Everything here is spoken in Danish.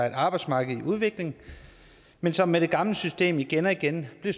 et arbejdsmarked i udvikling men som med det gamle system igen og igen er